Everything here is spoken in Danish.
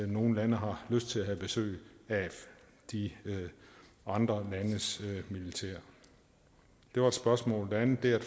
nogle lande har lyst til at have besøg af de andre landes militær det var et spørgsmål det andet er